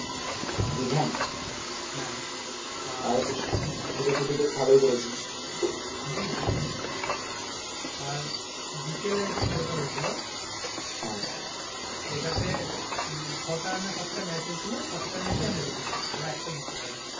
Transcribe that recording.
বিকেলে যে খেলা তা হয়েছিল, হ্যাঁ সেটাতে মানে ছটা না সাত টা ম্যাচ হয়েছিল সাত টা ম্যাচ ই আমরা জিতেছি ওরা একটাও জিততে পারেনি